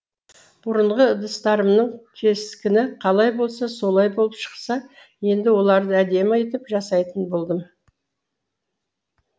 бұрынғы ыдыстарымның кескіні қалай болса солай болып шықса енді оларды әдемі етіп жасайтын болдым